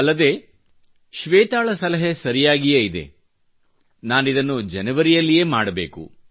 ಅಲ್ಲದೆ ಶ್ವೇತಾಳ ಸಲಹೆ ಸರಿಯಾಗಿಯೇ ಇದೆ ನಾನಿದನ್ನು ಜನೇವರಿಯಲ್ಲಿಯೇ ಮಾಡಬೇಕು